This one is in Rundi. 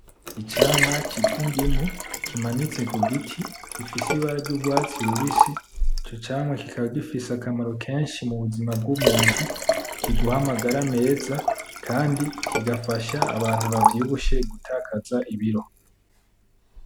Icamwa citwa indimu kimanitse kugiti gifise ibara ry'urwatsi rubisi ico camwa kikaba gifise akamaro kenshi mu buzima bw,umuntu kiguha amagara meza kandi kigafasha abantu bavyibushe gutakaza ibiro .